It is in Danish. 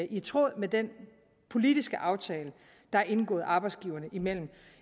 i tråd med den politiske aftale der er indgået arbejdsgiverne imellem